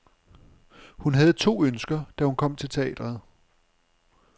Hun havde to ønsker, da hun kom til teatret.